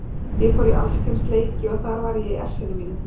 Ég fór í alls kyns leiki og þarna var ég í essinu mínu.